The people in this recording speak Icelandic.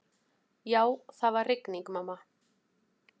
Já, það var rigning, mamma.